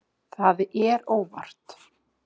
Það er óvart.